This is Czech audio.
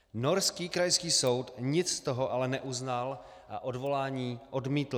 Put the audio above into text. Norský krajský soud nic z toho ale neuznal a odvolání odmítl.